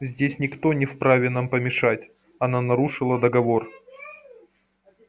здесь никто не вправе нам помешать она нарушила договор